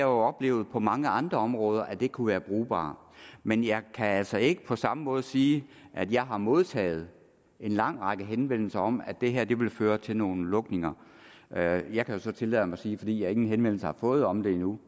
oplevet på mange andre områder at det kunne være brugbart men jeg kan altså ikke på samme måde sige at jeg har modtaget en lang række henvendelser om at det her ville føre til nogle lukninger og jeg kan jo så tillade mig sige fordi jeg ingen henvendelser har fået om det endnu